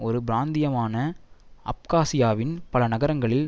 ஒரு பிராந்தியமான அப்காஸியாவின் பல நகரங்களில்